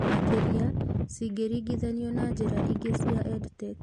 Makĩria cingĩringithanio na njĩra ingĩ cia EdTech.